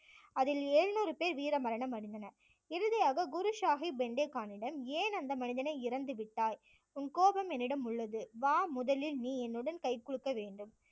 அதில் எழுநூறு பேர் வீரமரணம் அடைந்தனர் இறுதியாக குரு சாஹிப் பெண்டே கானுடன் ஏன் அந்த மனிதனை இறந்து விட்டாய் உன் கோபம் என்னிடம் உள்ளது வா முதலில் நீ என்னுடன் கை குலுக்க வேண்டும்